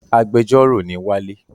Agbẹjọ́rœ ni wale